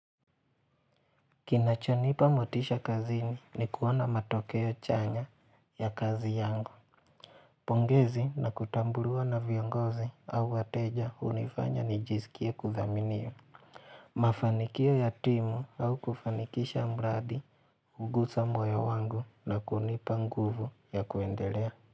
Kinachonipa motisha kazini ni kuona matokeo chanya ya kazi yangu. Pongezi na kutambuliwa na viongozi au wateja unifanya nijizikia kudhaminiwa. Mafanikia ya timu au kufanikisha mradi, hugusa moyo wangu na kunipa nguvu ya kuendelea.